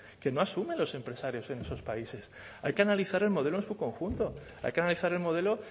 que no asumen los empresarios en esos países hay que analizar el modelo en su conjunto hay que analizar el modelo